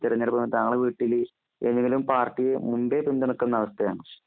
താങ്കളുടെ വീട്ടല് ഏതെങ്കിലും പാർട്ടിയെ മുന്പേ പിന്തുണക്കുന്ന അവസ്ഥ ഉണ്ടോ